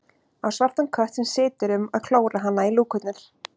Á svartan kött sem situr um að klóra hana í lúkurnar.